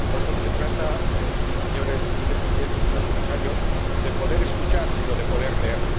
No solo se trata, señor Vicepresidente y señor Comisario, de poder escuchar, sino de poder leer.